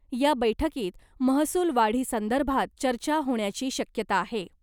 या बैठकीत महसूल वाढीसंदर्भात चर्चा होण्याची शक्यता आहे .